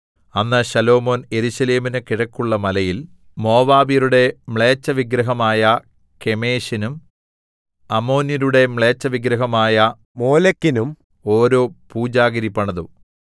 അന്ന് ശലോമോൻ യെരൂശലേമിന് കിഴക്കുള്ള മലയിൽ മോവാബ്യരുടെ മ്ലേച്ഛവിഗ്രഹമായ കെമോശിനും അമ്മോന്യരുടെ മ്ലേച്ഛവിഗ്രഹമായ മോലെക്കിനും ഓരോ പൂജാഗിരി പണിതു